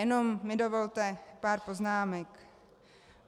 Jenom mi dovolte pár poznámek.